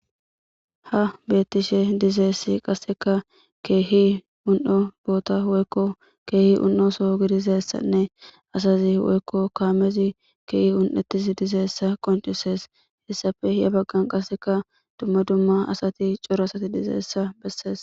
Ha beettishe dizeessi qasseka keehi un'o boota woykko keehi un'o so gidisessanne asazi woykko kaamezi keehi un'ettis dizeessa qoncusees hessafe ya baggan qasseka dumma dumma asati cora asati dizeessa bessees.